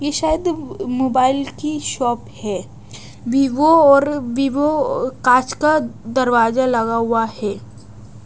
ये शायद मोबाइल की शॉप है वीवो और वीवो कांच का दरवाजा लगा हुआ है।